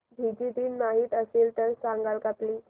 Fiji दिन माहीत असेल तर सांगाल का प्लीज